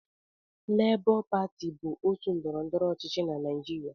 Lebọ pati bụ otu ndọrọndọrọ ọchịchị na Naịjirịa.